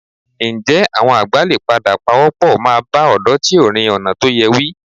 Ǹjẹ́ àwọn àgbà lè padà pawọ́pọ̀ máa bá ọ̀dọ́ tí ò rìn ọ̀nà tó yẹ wí?